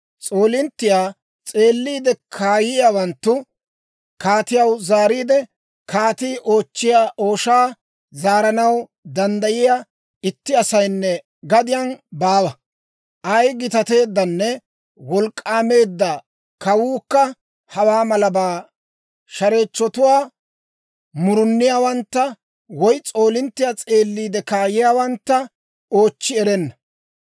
S'oolinttiyaa s'eeliide kaayiyaawanttu kaatiyaw zaariide, «Kaatii oochchiyaa ooshaa zaaranaw danddayiyaa itti asaynne gadiyaan baawa. Ay gitateeddanne wolk'k'aameedda kawuukka hawaa malabaa shareechchotuwaa, muruniyaawantta woy s'oolinttiyaa s'eeliide kaayiyaawantta oochchi erenna.